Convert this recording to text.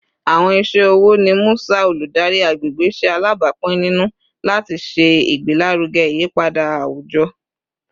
Awọn iṣẹ wo ni Musa, oludari agbegbe, ṣe alabapin ninu lati ṣe igbelaruge iyipada awujọ?